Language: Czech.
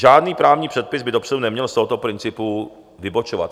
Žádný právní předpis by dopředu neměl z tohoto principu vybočovat.